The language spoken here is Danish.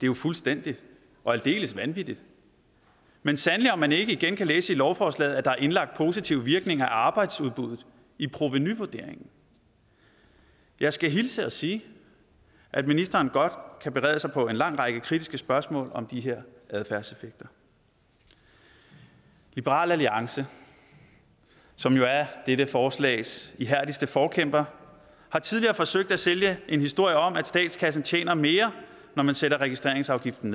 jo fuldstændig og aldeles vanvittigt men sandelig om man ikke igen kan læse i lovforslaget at der er indlagt positive virkninger af arbejdsudbuddet i provenuvurderingen jeg skal hilse og sige at ministeren godt kan berede sig på en lang række kritiske spørgsmål om de her adfærdseffekter liberal alliance som jo er dette forslags ihærdigste forkæmpere har tidligere forsøgt at sælge en historie om at statskassen tjener mere når man sætter registreringsafgiften